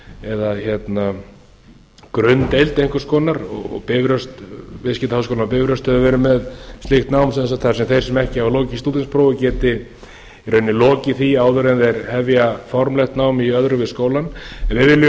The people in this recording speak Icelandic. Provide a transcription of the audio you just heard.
eða grunndeild einhvers konar og viðskiptaháskólinn á bifröst hefur leið með slíkt nám þar sem þeir sem ekki hafa lokið stúdentsprófi geti í rauninni lokið því áður en þeir formlegt nám í öðru við skólann við